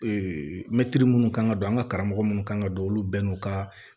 mɛtiri munnu kan ka don an ka karamɔgɔ minnu kan ka don olu bɛɛ n'u ka